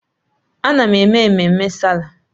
Ana m eme mmemme Sáálà.